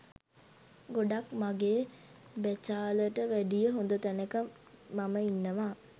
ගොඩක් මගේ බැචාලට වැඩිය හොඳ තැනක මම ඉන්නවා